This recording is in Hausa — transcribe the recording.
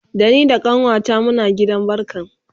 Da ni da kanuwata Muna gidan barkan